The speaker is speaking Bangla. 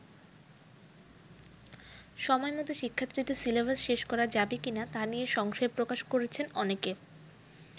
সময়মত শিক্ষার্থীদের সিলেবাস শেষ করা যাবে কিনা তা নিয়ে সংশয় প্রকাশ করেছেন অনেকে।